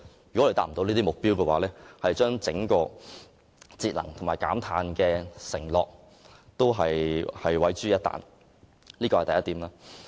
如未能達到這個目標，整個節能和減碳承諾將會毀於一旦，這是第一點。